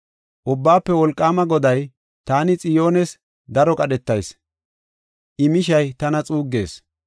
Ubbaafe Wolqaama Goday, “Taani Xiyoones daro qadhetayis; I mishay tana xuuggees.